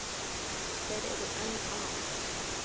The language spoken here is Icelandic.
Þeir eru enn að.